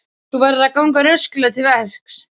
Þú verður að ganga rösklega til verks.